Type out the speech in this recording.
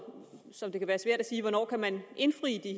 som det kan være svært at sige hvornår man kan indfri